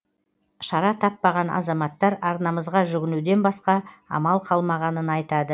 шара таппаған азаматтар арнамызға жүгінуден басқа амал қалмағанын айтады